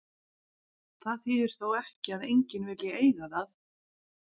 Það þýðir þó ekki að enginn vilji eiga það.